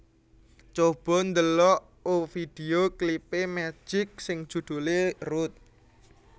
Coba ndelok o video klip e Magic sing judule Rude